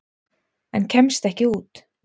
En kemst ekki út.